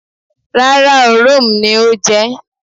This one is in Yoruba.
Rára oo, Rome (ajá) ni ó je̩ é̩.